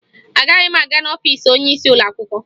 Agaghị m aga n'ọfiisi onyeisi ụlọakwụkwọ